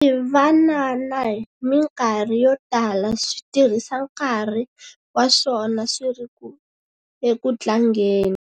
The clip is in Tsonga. Swivanana hi mikarhi yo tala swi tirhisa nkarhi wa swona swi ri eku tlangeni.